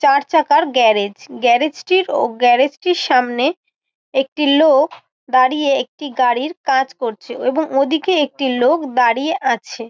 চার চাকার garage. Garage টির ও গ্যারেজ টির সামনে একটি লোক দাঁড়িয়ে একটি গাড়ির কাজ করছে এবং ওদিকে একটি লোক দাঁড়িয়ে আছে।